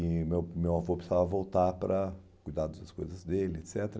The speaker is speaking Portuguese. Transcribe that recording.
E meu meu avô precisava voltar para cuidar das coisas dele, et cetera.